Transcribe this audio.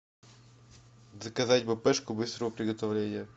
заказать бэпэшку быстрого приготовления